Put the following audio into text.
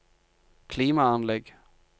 klimaanlegg